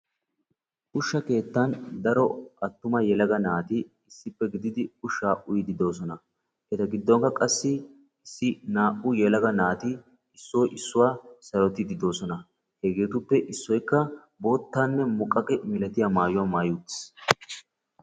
ushsha keettani daro attuma naati ushsha uyiddi beettossona etta gidonikka naa"u yelagatti issoy issuwa sarottidi eetossona ettappekka issoy bootta muqaqiya milatiya maayuwaa mayidi beetessi.